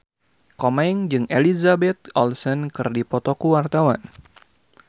Komeng jeung Elizabeth Olsen keur dipoto ku wartawan